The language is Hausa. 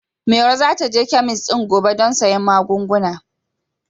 Maro za ta je kemis ɗin gobe don sayen magunguna.